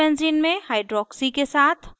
चौथे benzene में amino के साथ